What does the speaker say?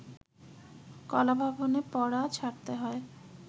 কলাভবনে পড়া ছাড়তে হয়